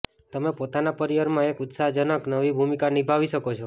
તમે પોતાના પરિવાર માં એક ઉત્સાહજનક નવી ભૂમિકા નિભાવી શકો છો